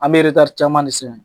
An bɛ caaman de sɛnɛ.